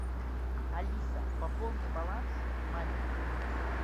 алиса пополни баланс маме